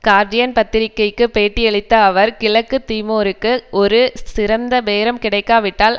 Guardian பத்திரிகைக்கு பேட்டியளித்த அவர் கிழக்கு திமோருக்கு ஒரு சிறந்த பேரம் கிடைக்காவிட்டால்